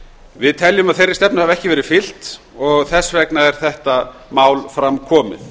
við teljum að þeirri stefnu hafi ekki verið fylgt og þess vegna er þetta mál fram komið